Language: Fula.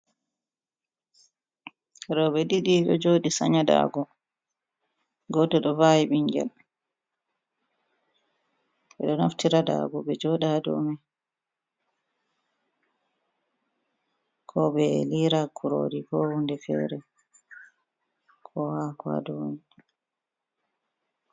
Robe didi ɗo joɗi sanya dago, goto ɗo vawi bingel, beɗo naftira dago ɓe joɗa domai, ko ɓe lira kurori, ko hunde fere, ko hako hadomai.